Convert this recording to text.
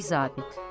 Kiçik zabit.